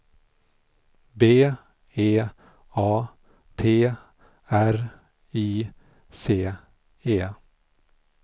B E A T R I C E